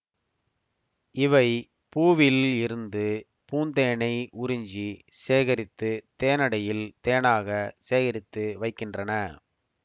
இவை பூவில் இருந்து பூந்தேனை உறிஞ்சி சேகரித்து தேனடையில் தேனாக சேகரித்து வைக்கின்றன